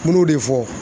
N m'o de fɔ